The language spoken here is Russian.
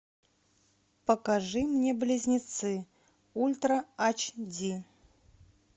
покажи мне близнецы ультра айчди